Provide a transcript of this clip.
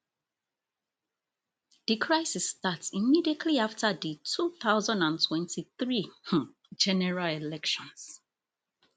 di crisis start immediately afta di two thousand and twenty-three um general elections